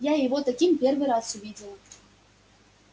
я его таким первый раз увидела